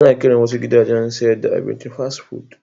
Ana kiran wasu gidajen sayar da abinci Fast food.